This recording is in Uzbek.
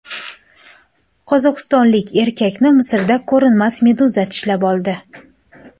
Qozog‘istonlik erkakni Misrda ko‘rinmas meduza tishlab oldi.